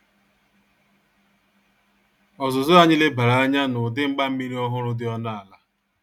Ọzuzụ anyi lebara anya n' udi mgbammiri ọhụrụ dị ọnụ ala